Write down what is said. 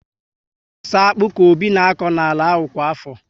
Ọ bu so akpu ka Obi na akọ n'ala ahụ kwa afọ